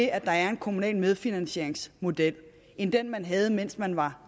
at der er en kommunal medfinansieringsmodel end den man havde mens man var